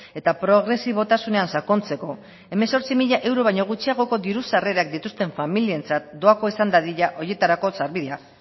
eta progresibotasunean sakontzeko hemezortzi mila euro baino gutxiagoko diru sarrerak dituzten familientzat doakoa izan dadin horietako sarbidea